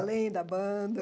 Além da banda?